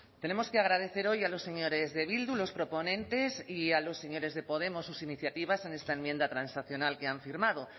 tenemos que agradecer hoy a los señores de bildu los proponentes y a los señores de podemos sus iniciativas en esta enmienda transaccional que han firmado